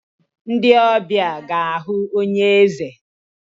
Ndị ọbịa ga-ahụ onye eze.